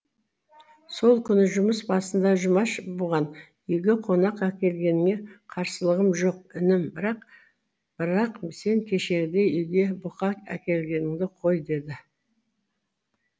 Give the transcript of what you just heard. сол күні жұмыс басында жұмаш бүған үйге қонақ әкелгеніңе қарсылығым жоқ інім бірақ бірақ сен кешегідей үйге бұка әкелгенді қой деді